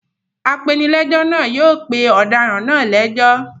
Apenilẹ́jọ́ náà yóò pe ọ̀daràn náà lẹ́jọ́.